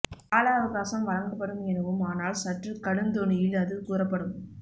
கால அவகாசம் வழங்கப்படும் எனவும் ஆனால் சற்றுக் கடுந் தொனியில் அது கூறப்படும்